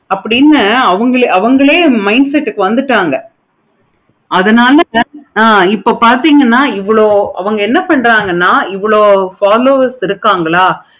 அப்படின்னு அவுனுங்களே minset க்கு வந்துட்டாங்க. அதனால இப்ப பார்த்தீங்கன்னா இவ்வளோ அவங்க என்ன பண்றாங்கன்னா இவ்வளோ followers இருக்காங்களா